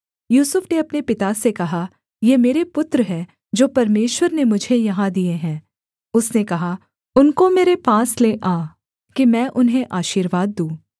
यूसुफ ने अपने पिता से कहा ये मेरे पुत्र हैं जो परमेश्वर ने मुझे यहाँ दिए हैं उसने कहा उनको मेरे पास ले आ कि मैं उन्हें आशीर्वाद दूँ